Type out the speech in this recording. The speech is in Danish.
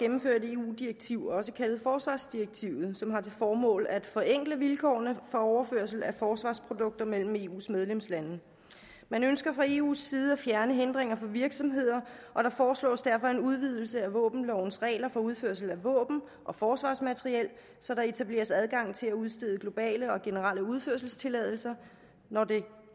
gennemføre et eu direktiv også kaldet forsvarsdirektivet som har til formål at forenkle vilkårene for overførsel af forsvarsprodukter mellem eus medlemslande man ønsker fra eus side at fjerne hindringer for virksomheder og der foreslås derfor en udvidelse af våbenlovens regler for udførsel af våben og forsvarsmateriel så der etableres adgang til at udstede globale og generelle udførselstilladelser når det